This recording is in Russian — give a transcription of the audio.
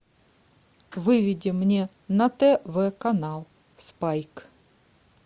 выведи мне на тв канал спайк